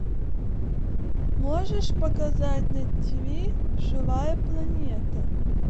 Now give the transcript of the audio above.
можешь показать на тиви живая планета